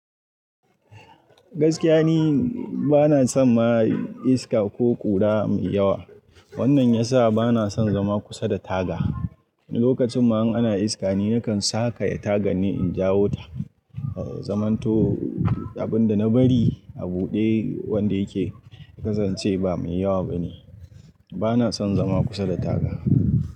Gaskiya ni bana son ma iska ko ƙura mai yawa. Wannan ya sa bana son zama kusa da taga. Lokacin ma in ana iska ni nakan saka ya tagan in jawo ta Zamanto abin da na bari a buɗe wanda yake, na san cewa ba mai yawa ba ne. Bana son zama kusa da taga.